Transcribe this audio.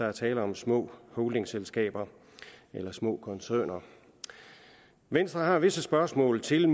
er tale om små holdingselskaber eller små koncerner venstre har visse spørgsmål til